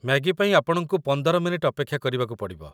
Maggi ପାଇଁ ଆପଣଙ୍କୁ ୧୫ minute ଅପେକ୍ଷା କରିବାକୁ ପଡ଼ିବ ।